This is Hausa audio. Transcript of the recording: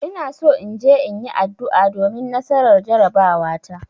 Ina so in je in yi addu'a domin nasarar jarabawata.